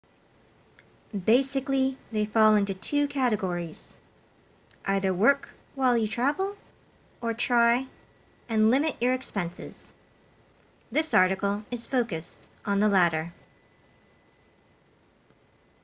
basically they fall into two categories either work while you travel or try and limit your expenses this article is focused on the latter